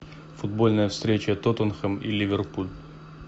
футбольная встреча тоттенхэм и ливерпуль